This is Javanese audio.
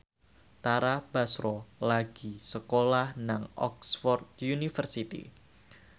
Tara Basro lagi sekolah nang Oxford university